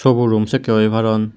so bu room sekkey oi paron.